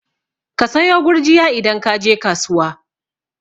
Ka sayo gurjiya idan kaje kasuwa